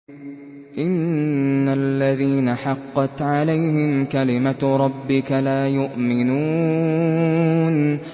إِنَّ الَّذِينَ حَقَّتْ عَلَيْهِمْ كَلِمَتُ رَبِّكَ لَا يُؤْمِنُونَ